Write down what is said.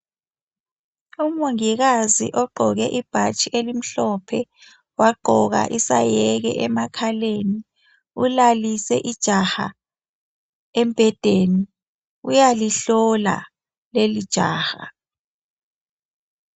Umongikazi ogqoke ibhatshi elimhlophe, wagqoka isayeke emakhaleni. Ulalise ijaha embhedeni, uyalihlola lelijaha.